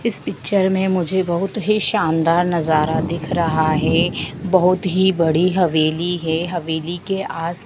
इस पिक्चर में मुझे बहोत ही शानदार नज़ारा दिख रहा है बहोत ही बड़ी हवेली है हवेली के आस --